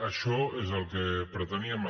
això és el que preteníem